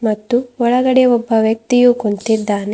ಮತ್ತು ಒಳಗಡೆ ಒಬ್ಬ ವ್ಯಕ್ತಿಯು ಕುಂತಿದ್ದಾನೆ.